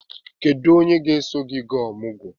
Kedu onye ga-eso gị gaa ọmụgwọ?